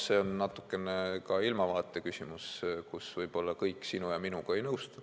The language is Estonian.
Noh, see on natukene ka ilmavaate küsimus, mille puhul võib-olla kõik sinu ja minuga ei nõustu.